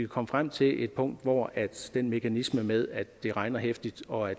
komme frem til et punkt hvor den mekanisme med at det regner heftigt og at